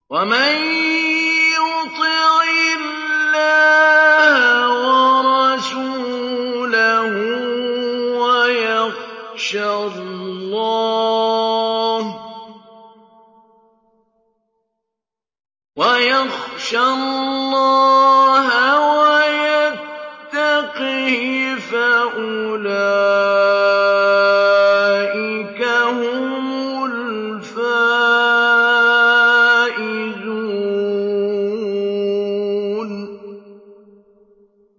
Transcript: وَمَن يُطِعِ اللَّهَ وَرَسُولَهُ وَيَخْشَ اللَّهَ وَيَتَّقْهِ فَأُولَٰئِكَ هُمُ الْفَائِزُونَ